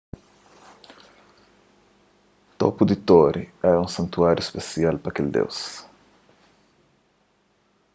topu di tori éra un santuáriu spesial pa kel deus